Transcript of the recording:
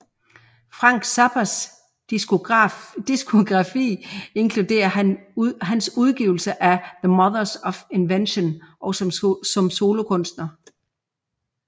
Frank Zappas diskografi inkluderer han udgivelser med the Mothers of Invention og som solokunstner